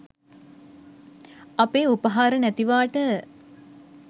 අපේ උපහාර නැතිවාට